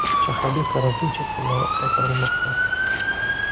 Shaharda karantin cheklovlari qaytarilmoqda.